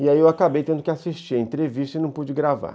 E aí eu acabei tendo que assistir a entrevista e não pude gravar.